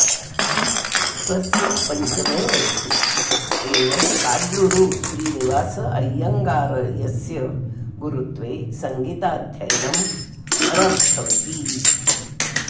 स्वस्य पञ्चमे वयसि एव काडलूरु श्रीनिवास अय्यङ्गार्यस्य गुरुत्वे सङ्गीताध्ययनम् अरब्धवती